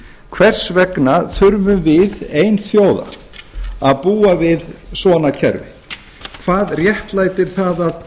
hvers vegna þurfum við ein þjóða að búa við svona kerfi hvað réttlætir það